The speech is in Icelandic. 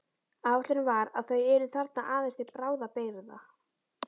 Ætlunin var að þau yrðu þarna aðeins til bráðabirgða.